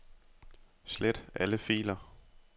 Slet alle filer.